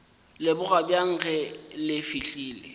leboga bjang ge le fihlile